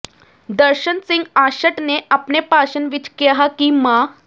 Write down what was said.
ਦਰਸ਼ਨ ਸਿੰਘ ਆਸ਼ਟ ਨੇ ਆਪਣੇ ਭਾਸ਼ਣ ਵਿੱਚ ਕਿਹਾ ਕਿ ਮਾ